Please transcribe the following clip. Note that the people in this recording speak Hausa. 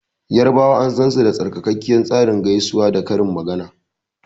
Yarbawa an sansu da sarkakkiyar tsarin gaisuwa da karin magana.